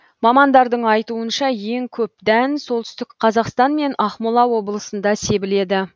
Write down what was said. мамандардың айтуынша ең көп дән солтүстік қазақстан мен ақмола облысында себіледі